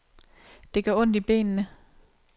Det gør ondt i benene.